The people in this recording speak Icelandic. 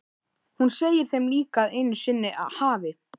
Hún segir þeim líka að einu sinni hafi